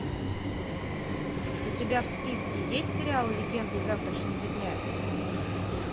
у тебя в списке есть сериал легенды завтрашнего дня